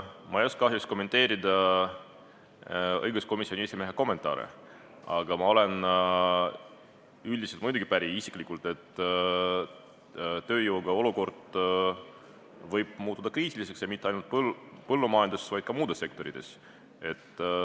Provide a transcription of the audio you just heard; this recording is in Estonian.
Ma ei oska kahjuks kommenteerida õiguskomisjoni esimehe kommentaare, aga ma isiklikult olen üldiselt muidugi päri, et tööjõuga seotud olukord võib muutuda kriitiliseks ja mitte ainult põllumajanduses, vaid ka muudes sektorites.